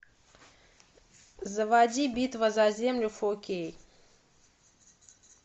заводи битва за землю фо кей